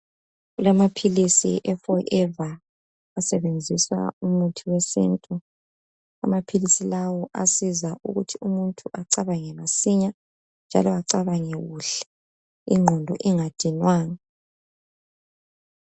kulamaphilis e forever asebenzisa umuthi wesintu amaphilisi lawa ayasiza ukuthi umuntu acabange masinya njalo acabange kuhleinqondo ingadinwanga